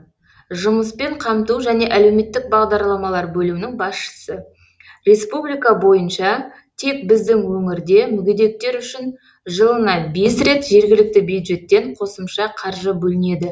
жұмыспен қамту және әлеуметтік бағдарламалар бөлімінің басшысы республика бойынша тек біздің өңірде мүгедектер үшін жылына бес рет жергілікті бюджеттен қосымша қаржы бөлінеді